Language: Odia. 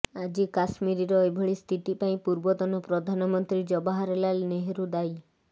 ଆଜି କାଶ୍ମିରୀର ଏଭଳି ସ୍ଥିତି ପାଇଁ ପୂର୍ବତନ ପ୍ରଧାନମନ୍ତ୍ରୀ ଜବାହାର ଲାଲ ନେହୁରୁ ଦାୟୀ